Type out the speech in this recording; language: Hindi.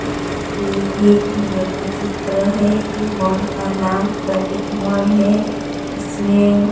ये एक मॉल का चित्र है ये मॉल का नाम प्रतीक मॉल है इसमे--